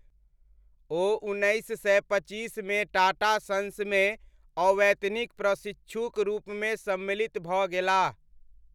ओ उन्मेनैस सय पचीसमे टाटा सन्समे अवैतनिक प्रशिक्षुक रूपमे सम्मिलित भऽ गेलाह।